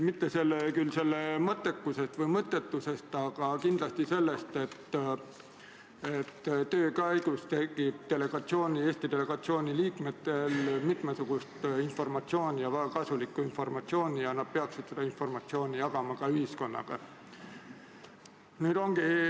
Mitte küll selle mõttekust või mõttetust, aga kindlasti seda, et töö käigus tekib Eesti delegatsiooni liikmetel mitmesugust informatsiooni ja väga kasulikku informatsiooni ning nad peaksid seda informatsiooni jagama ka ühiskonnaga.